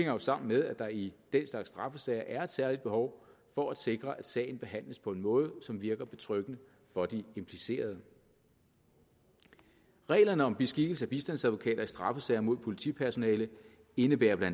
jo sammen med at der i den slags straffesager er et særligt behov for at sikre at sagen behandles på en måde som virker betryggende for de implicerede reglerne om beskikkelse af bistandsadvokater i straffesager mod politipersonale indebærer bla